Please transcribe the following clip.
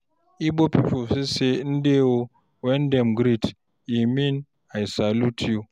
Igbo people fit say "Ndewo" when dem greet, e mean "I salute you."